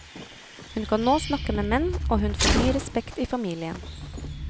Hun kan nå snakke med menn og hun får ny respekt i familien.